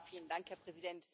Herr Präsident!